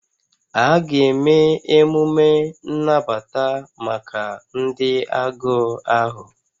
A ga-eme emume nnabata maka ndị agụụ ahụ